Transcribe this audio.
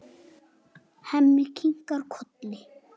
Hemmi kinkar kolli.